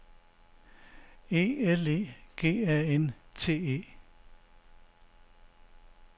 E L E G A N T E